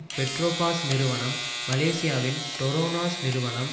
பெட்ரோபாஸ் நிறுவனம் மலேசியாவின் ட்ரோ நாஸ் நிறுவனம்